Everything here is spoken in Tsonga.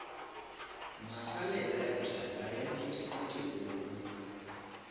masalela ya byalwa ya nyikiwa tihuku